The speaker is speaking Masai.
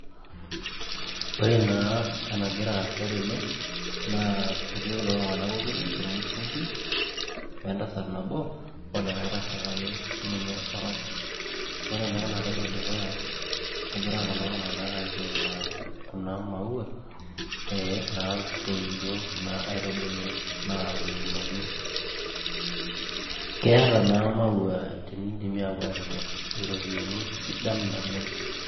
Ore naa enagira aasa tene naa etii kulo tung'anak okuni ormusungui o entasat nabo olikae tasat ake sininye orok ore naa enaloito dukuya egira kulo tung'anak aapuo aing'uraa kuna maua ee naatoiutuo kuna aitubulu naatuunoki keeta naa maua tenidimi aapuo aatimirr iropiyiani sidan naleng.